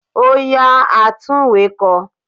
Ó yá àtunwekò